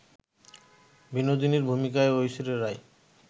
বিনোদিনীর ভূমিকায় ঐশ্বরিয়া রাই